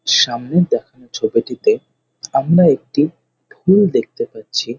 সামনের দেখানো ছবিটিতে আমরা একটি ফুল দেখতে পাচ্ছি ।